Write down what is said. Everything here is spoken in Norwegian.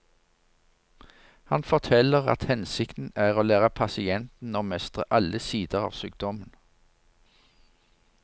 Han forteller at hensikten er å lære pasienten å mestre alle sider av sykdommen.